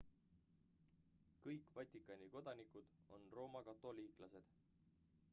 kõik vatikani kodanikud on roomakatoliiklased